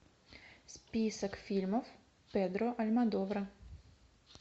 список фильмов педро альмодовара